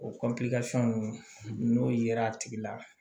O ninnu n'o yera a tigi la